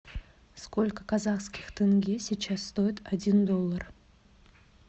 сколько казахских тенге сейчас стоит один доллар